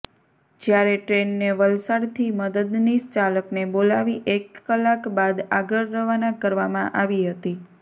જ્યારે ટ્રેનને વલસાડથી મદદનીશ ચાલકને બોલાવી એક કલાક બાદ આગળ રવાના કરવામાં આવી હતી